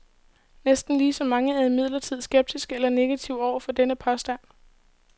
Næsten lige så mange er imidlertid skeptiske eller negative over for denne påstand.